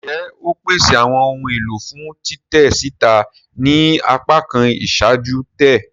Njẹ o pese awọn ohun elo fun titẹ sita ni apakan iṣaaju-tẹ?